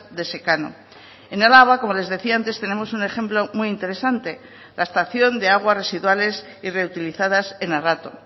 de secano en araba como les decía antes tenemos un ejemplo muy interesante la estación de aguas residuales y reutilizadas en arrato